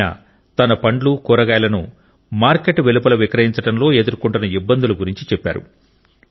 ఆయన తన పండ్లు కూరగాయలను మార్కెట్ వెలుపల విక్రయించడంలో ఎదుర్కొంటున్న ఇబ్బందుల గురించి చెప్పారు